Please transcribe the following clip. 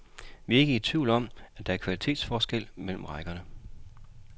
Vi er ikke i tvivl om, at der er kvalitetsforskel mellem rækkerne.